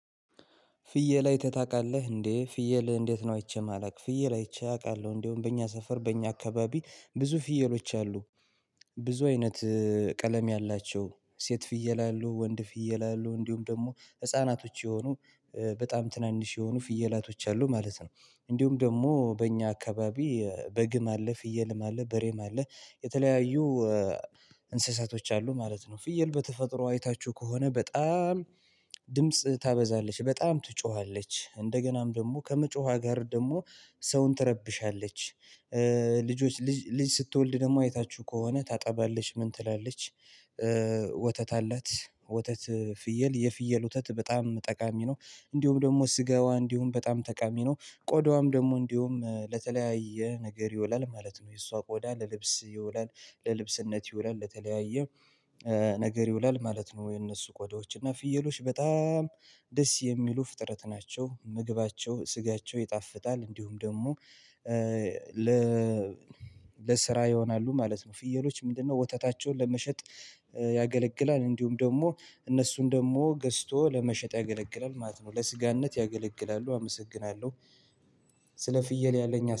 ፍየል አይተህ ታቃለህ እንዴ ፍየል እንዴት ነው አይቼ ማለቅ ፍየል አይቼ አቃለሁ እንደውም በእኛ ሰፈር በእኛ አካባቢ ብዙ ፍየሎች አሉ። ብዙ አይነት ቀለም ያላቸው ሴት ፍየል አሉ ወንድ ፍየል አሉ እንዲሁም ደግሞ ህፃናቶች የሆኑ በጣም ትናንሽ የሆኑ ፍየላቶች አሉ ማለት ነው። እንዲሁም ደግሞ በእኛ አካባቢ በግም አለ ፍየልም አለ በሬም አለ የተለያዩ እንስሳቶች አሉ ማለት ነው። ፍየል በተፈጥሮ አይታችሁ ከሆነ በጣም ድምጽ ታበዛለች በጣም ትጮሃለች እንደገናም ደግሞ ከመጮሃ ጋር ደግሞ ሰውን ትረብሻለች። ልጆች ልጅ ስትወልድ ደግሞ አይታችሁ ከሆነ ታጠባለች ምን ትላለች? ወተት አላት ወተት ፍየል የፍየል ወተት በጣም ጠቃሚ ነው። እንዲሁም ደግሞ ስጋዋ እንዲሁም በጣም ጠቃሚ ነው። ቆዳዋም ደግሞ እንዲሁም ለተለያየ ነገር ይውላል ማለት ነው የእሷ ቆዳ ለልብስ ይውላል። ለልብስነት ይውላል ለተለያየ ነገር ይውላል ማለት ነው። የነሱ ቆዳዎች እና ፍየሎች በጣም ደስ የሚሉ ፍጥረት ናቸው። ምግባቸው ስጋቸው ይጣፍጣል እንዲሁም ደግሞ ለ ለስራ ይሆናሉ ማለት ነው። ፍየሎች ምንድነው ወተታቸውን ለመሸጥ ያገለግላል እንዲሁም ደግሞ እነሱን ደግሞ ገዝቶ ለመሸጥ ያገለግላል ማለት ነው። ለስጋነት ያገለግላሉ አመሰግናለሁ። ስለ ፍየል ያለኝ